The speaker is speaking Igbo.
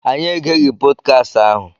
Anyị egeghị pọdkast ahụ.